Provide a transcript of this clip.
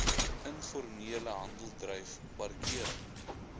informele handeldryf parkering